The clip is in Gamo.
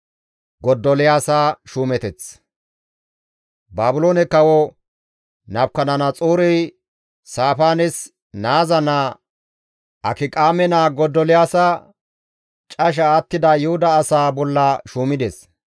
Baabiloone kawo Nabukadanaxoorey Saafaanes naaza naa Akiqaame naa Godoliyaasa casha attida Yuhuda asaa bolla shuumides.